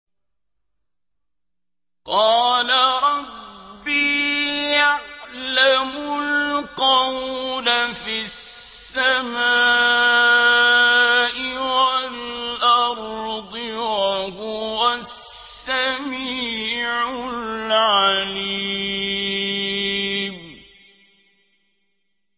قَالَ رَبِّي يَعْلَمُ الْقَوْلَ فِي السَّمَاءِ وَالْأَرْضِ ۖ وَهُوَ السَّمِيعُ الْعَلِيمُ